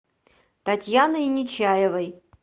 татьяной нечаевой